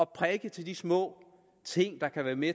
prikke til de små ting der kan være med